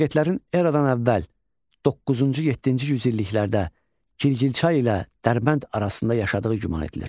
Massagetlərin Eradan əvvəl doqquzuncu-yeddinci yüzilliklərdə Girgilçay ilə Dərbənd arasında yaşadığı güman edilir.